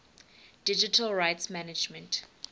digital rights management